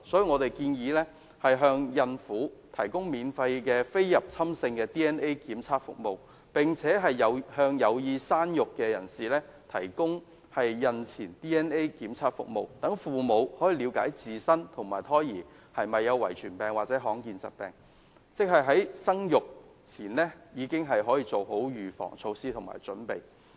我們建議向孕婦提供免費非侵入性 DNA 檢測服務，並且向有意生育人士提供孕前 DNA 檢測服務，讓父母可以了解自身及胎兒有否遺傳病或罕見疾病，在生育前已經做好預防措施及準備。